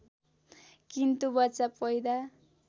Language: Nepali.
किन्तु बच्चा पैदा